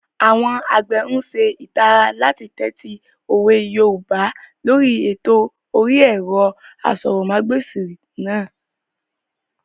Àwọn àgbẹ̀ n ṣe ìtara láti tẹ́tí òwe yoòbá lóri ètò orí ẹ̀rọ asọ̀rọ̀mágbèsì náà